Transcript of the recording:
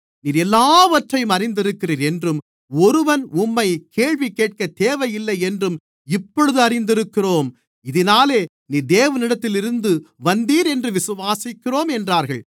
நீர் எல்லாவற்றையும் அறிந்திருக்கிறீர் என்றும் ஒருவன் உம்மை கேள்வி கேட்க தேவை இல்லை என்றும் இப்பொழுது அறிந்திருக்கிறோம் இதினாலே நீர் தேவனிடத்திலிருந்து வந்தீர் என்று விசுவாசிக்கிறோம் என்றார்கள்